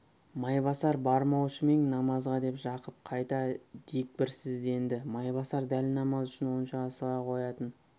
майбасар бармаушы ма ең намазға деп жақып қайта дегбірсізденді майбасар дәл намаз үшін онша асыға қоятын